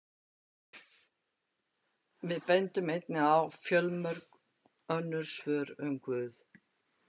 Við bendum einnig að fjölmörg önnur svör um Guð.